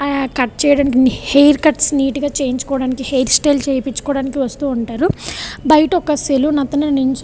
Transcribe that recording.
హ కట్ చేయడానికి hair cut నేతిగా చేపెయడకి హెయిర్ చుట స్త్య్లె చేపియడానికి అండ్ ఇక్కడ వక సలూన్ కూడా కనిపెస్తునది.